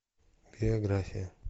биография